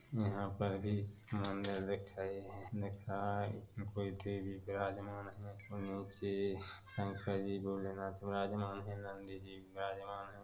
यहाँ पर भी मंदिर दिख रही है दिख रहा है जिस में कोई देवी विराजमान है और निचे शंकर जी भोलेनाथ विराजमान है नंदी जी विराजमान है।